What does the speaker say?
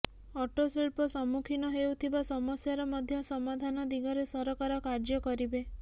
auto ଶିଳ୍ପ ସମ୍ମୁଖୀନ ହେଉଥିବା ସମସ୍ୟାର ମଧ୍ୟ ସମାଧାନ ଦିଗରେ ସରକାର କାର୍ଯ୍ୟ କରିବେ